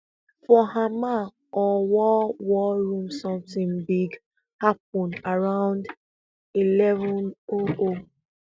for hamal or war war room sometin big happun around eleven o o